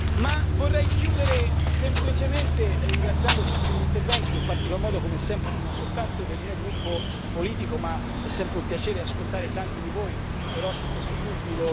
Ma vorrei chiudere semplicemente ringraziando per tutti gli interventi, in particolar modo, come sempre, non soltanto del mio gruppo politico, ma è sempre un piacere ascoltare tanti di voi Verhofstadt su tutti.